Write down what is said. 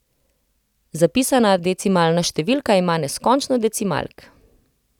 Zapisana decimalna številka ima neskončno decimalk.